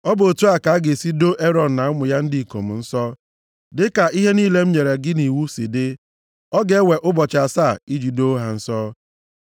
“Ọ bụ otu a ka a ga-esi doo Erọn na ụmụ ya ndị ikom nsọ, dịka ihe niile m nyere gị nʼiwu si dị. Ọ ga-ewe ụbọchị asaa iji doo ha nsọ.